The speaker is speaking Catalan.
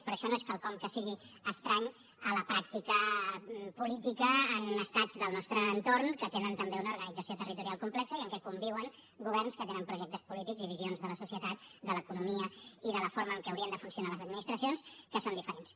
però això no és quelcom que sigui estrany a la pràctica política en estats del nostre entorn que tenen també una organització territorial complexa i en què conviuen governs que tenen projectes polítics i visions de la societat de l’economia i de la forma en què haurien de funcionar les administracions que són diferents